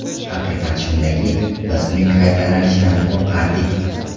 Haqiqat shundaki, biz uning qaytalanishidan qo‘rqardik.